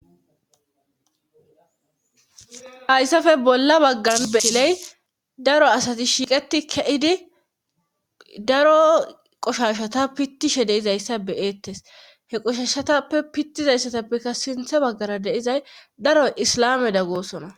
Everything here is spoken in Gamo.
Hayssafe bolla baggan betiley daro asati shiiqeti ke'idi daro qoshashata pittishe deizayssa beyeettes heqoshashatappe pittizayssatappekka sinthe baggara deizay daro islame daggoosona.